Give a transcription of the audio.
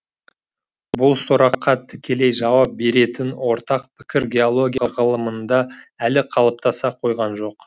бұл сұраққа тікелей жауап беретін ортақ пікір геология ғылымында әлі қалыптаса қойған жоқ